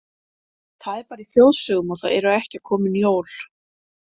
Það er bara í þjóðsögum og það eru ekki komin jól.